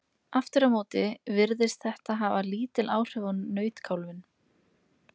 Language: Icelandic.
aftur á móti virðist þetta hafa lítil áhrif á nautkálfinn